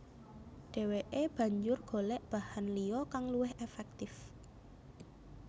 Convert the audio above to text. Dheweke banjur golek bahan liya kang luwih efektif